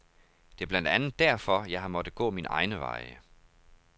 Det er blandt andet derfor, jeg har måttet gå mine egne veje.